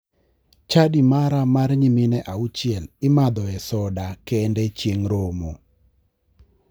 Chadi mara mar nyimine auchiel imadhoe soda kende chieng romo.